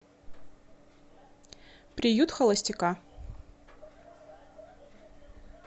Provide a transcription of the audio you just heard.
приют холостяка